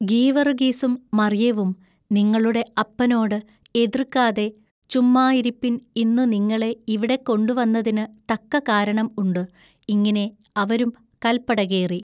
“ഗീവറുഗീസും മറിയവും നിങ്ങളുടെ അപ്പനോടു എതൃക്കാതെ ചുമ്മായിരിപ്പിൻ ഇന്നു നിങ്ങളെ ഇവിടെകൊണ്ടു വന്നതിനു തക്ക കാരണം ഉണ്ടു ഇങ്ങിനെ അവരും കല്പടകേറി.